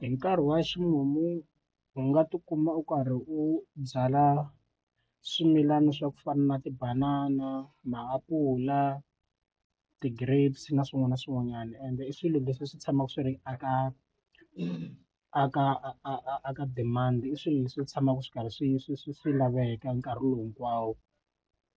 Hi nkarhi wa ximumu u nga tikuma u karhi u byala swimilana swa ku fana na tibanana, maapula ti-grapes na swin'wana na swin'wanyana ende i swilo leswi swi tshamaka swi ri a ka a ka a ka demand i swilo leswi tshamaka swi karhi swi swi swi swi laveka nkarhi lowu hinkwawo